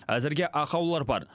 әзірге ақаулар бар